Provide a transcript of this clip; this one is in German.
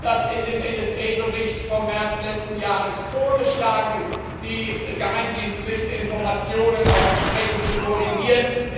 Wir hatten im NSA Bericht vom März letzten Jahres vorgeschlagen, die geheimdienstlichen Informationen auch entsprechend zu koordinieren.